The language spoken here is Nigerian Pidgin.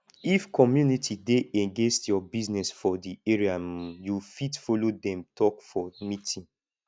if community dey against your business for di area um you fit follow dem talk for meeting